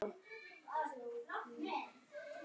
En við verðum að ná